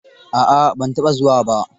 A'a ban taɓa zuwa ba.